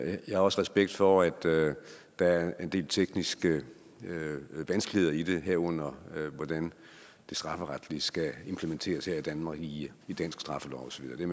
jeg har også respekt for at der er en del tekniske vanskeligheder i det herunder hvordan det strafferetlige skal implementeres her i danmark i dansk straffelov og så videre det